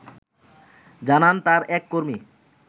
জানান তার এক কর্মী